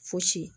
Fosi